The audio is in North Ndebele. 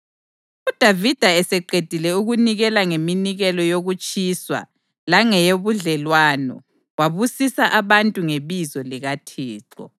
UDavida eseqedile ukunikela ngeminikelo yokutshiswa langeyobudlelwano, wabusisa abantu ngebizo likaThixo.